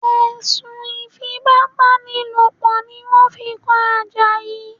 Ẹ̀sùn Ìfipábánilòpọ̀ ni wọ́n fi kan Àjàyí